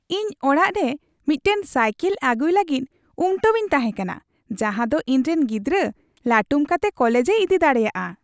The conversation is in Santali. ᱤᱧ ᱚᱲᱟᱜ ᱨᱮᱢᱤᱫᱴᱟᱝ ᱥᱟᱭᱠᱮᱞ ᱟᱹᱜᱩᱭ ᱞᱟᱹᱜᱤᱫ ᱩᱢᱴᱟᱹᱣ ᱤᱧ ᱛᱟᱦᱮᱸ ᱠᱟᱱᱟ ᱡᱟᱦᱟᱸᱫᱚ ᱤᱧᱨᱮᱱ ᱜᱤᱫᱽᱨᱟᱹ ᱞᱟᱹᱴᱩᱢ ᱠᱟᱛᱮ ᱠᱚᱞᱮᱡᱽ ᱮ ᱤᱫᱤ ᱫᱟᱲᱮᱭᱟᱜᱼᱟ ᱾